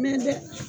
dɛ